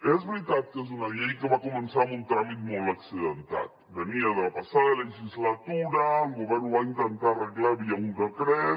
és veritat que és una llei que va començar amb un tràmit molt accidentat venia de la passada legislatura el govern ho va intentar arreglar via un decret